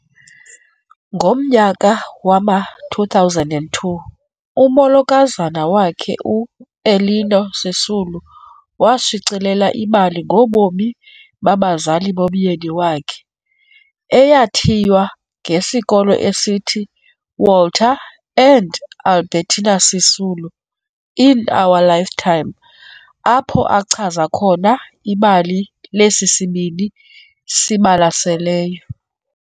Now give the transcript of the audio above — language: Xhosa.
Ngomnyaka wama- 2002 umolokazana wakhe u- Ellinor Sisulu washicilela ibali ngobomi babazali bomyeni wakhe, eyathiywa ngesihloko esithi, "Walter and Albertina Sisulu - In Our Lifetime" apho achaza khona ibali lesi sibini sibalaseleyo.